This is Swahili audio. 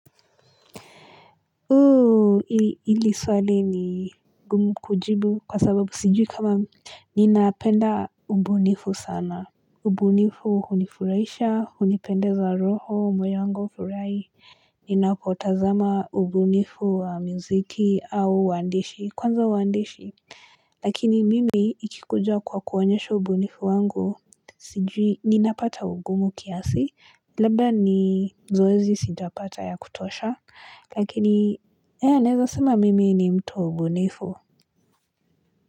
Oo ili swali ni gumu kujibu kwa sababu sijui kama nina penda ubunifu sana ubunifu hunifuraisha hunipendeza roho moyo wangu furai ninapotazama ubunifu wa mziki au wandishi kwanza wandishi lakini mimi ikikuja kwa kuonyesha ubunifu wangu sijui ninapata ugumu kiasi labda ni zoezi sitapata ya kutosha lakini ya naeza sema mimi ni mtu mbunifu.